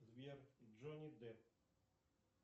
сбер джонни депп